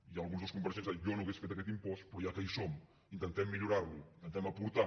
i algun dels compareixents deia jo no hauria fet aquest impost però ja que hi som intentem millorar lo intentem aportar